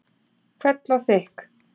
Hvell og þykk.